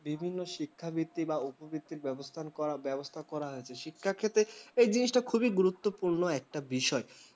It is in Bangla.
বিভিন্ন শিক্ষাবৃত্তি বা উপবৃত্তি ব্যবস্থান করা বা ব্যবস্থা করা হয়েছে শিক্ষা ক্ষেত্রে এই জিনিসটা খুবই গুরুত্বপূর্ণ একটা বিষয় ।